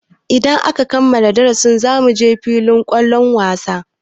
Idan aka kammala darasin zamuje filin kwallon wasa.